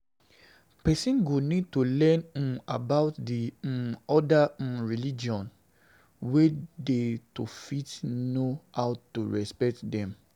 Person go need to learn um about di um other um religions wey dey to fit know how to respect them